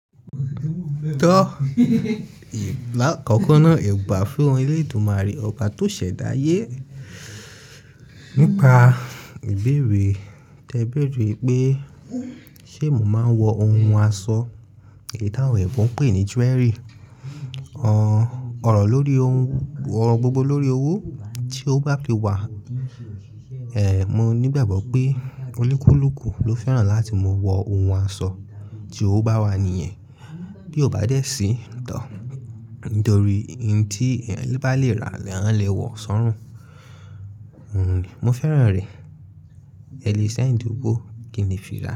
Tọ́, lákọ̀kọ́ ná, ìbà fún Elédùmarè ọba tó ṣẹ̀dá ayé. Nípa ìbèrè, tẹ́ bèrè npe ṣé mo ma wọ ohun aṣọ, oun tí àwọn òyìnbó ń pè ní jewelry. Ọ̀rọ̀ lórí ohun, ọ̀rọ̀ gbogbo lórí owó tí ó bá ti wà. Mo nígbàgbọ́ pé onikuluuku ló fẹ́ràn láti máa wọ ohun aṣọ tí owó bá wà nìyẹn. Bí ó bá dé sí tọ́, nítorí oun tí ẹni bá lè rà, ni wọ́n lè wọ̀ sọ́rùn. Mo fẹ́ràn rẹ̀. Ẹ lè send owó kin lè fira.